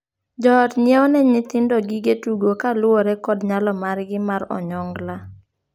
Joot ng'iewo ne nyithindo gige tugo kaluwore kod nyalo margi mar onyongla.